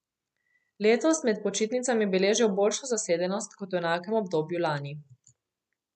Letos med počitnicami beležijo boljšo zasedenost kot v enakem obdobju lani.